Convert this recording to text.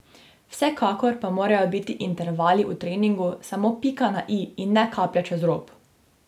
Vsekakor pa morajo biti intervali v treningu samo pika na i in ne kaplja čez rob.